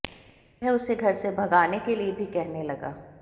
वह उसे घर से भगाने के लिए भी कहने लगा